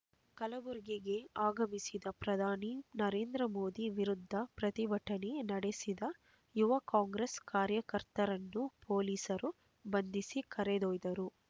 ಕಲಬುರಗಿಗೆ ಆಗಮಿಸಿದ ಪ್ರಧಾನಿ ನರೇಂದ್ರ ಮೋದಿ ವಿರುದ್ಧ ಪ್ರತಿಭಟನೆ ನಡೆಸಿದ ಯುವ ಕಾಂಗ್ರೆಸ್ ಕಾರ್ಯಕರ್ತರನ್ನು ಪೊಲೀಸರು ಬಂಧಿಸಿ ಕರೆದೊಯ್ದರು